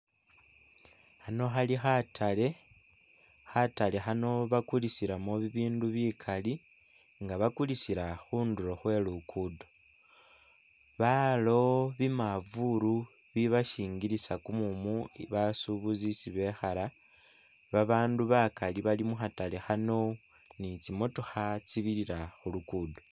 Khano khali khatale ,khatale khano bakulisilamu ibindu bikala nga bakulisila khunduro khwe lugudo balawo bimavulu bibashingilisa kumumu basubuzi isi bikhala ,babandu bakali bali mu khatale khano ni tsi motoka tsi birira khu lugudo .